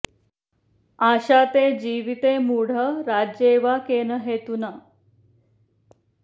आशा ते जीविते मूढ राज्ये वा केन हेतुना